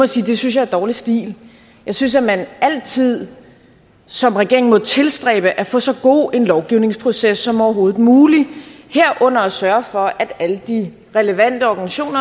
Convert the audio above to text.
sige det synes jeg er dårlig stil jeg synes at man altid som regering må tilstræbe at få så god en lovgivningsproces som overhovedet muligt herunder at sørge for at alle de relevante organisationer